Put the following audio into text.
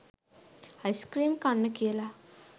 ice cream කන්න කියලා